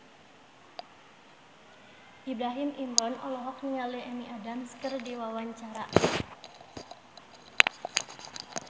Ibrahim Imran olohok ningali Amy Adams keur diwawancara